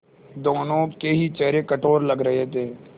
दोनों के ही चेहरे कठोर लग रहे थे